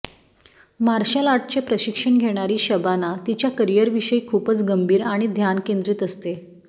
marshal आर्टचे प्रशिक्षण घेणारी शबाना तिच्या करिअरविषयी खूपच गंभीर आणि ध्यान केंद्रित असते